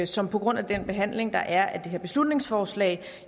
som på grund af den behandling der er af det her beslutningsforslag